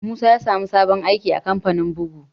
Musa ya sa mu sabon aiki a kamfanin bugu